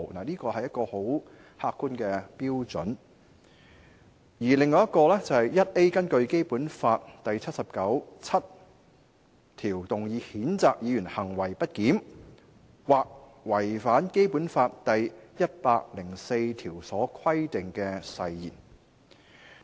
這是十分客觀的標準；另一個機制是第 49B 條所訂，根據《基本法》第七十九條第七項動議譴責議員行為不檢或違反《基本法》第一百零四條所規定的誓言。